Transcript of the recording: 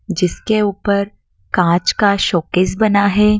जिसके ऊपर कांच का शोकेस बना हैं।